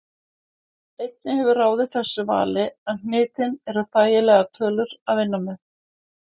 Einnig hefur ráðið þessu vali að hnitin eru þægilegar tölur að vinna með.